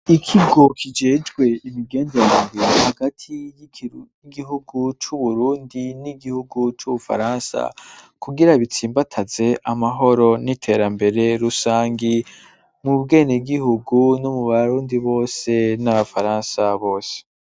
Ikigo kijejwe imigenderanire hagati y'igihugu c'uburundi ,n'igihugu c'ubufaransa ,kugira bitsimbataze amahoro ,n'iterambere rusangi ,mu bwenegihugu no mu barundi bose n'abafaransa bose.